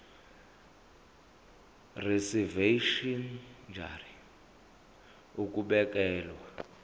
reservation ngur ukubekelwa